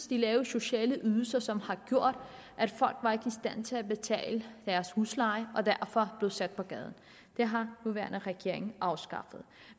de lave sociale ydelser som har gjort at folk ikke var i stand til at betale deres husleje og derfor blev sat på gaden det har den nuværende regering afskaffet